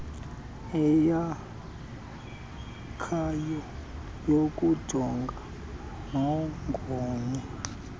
eyakhayo yokujongana nogonyo